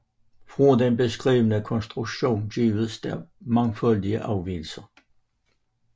Fra den beskrevne konstruktion gives der mangfoldige afvigelser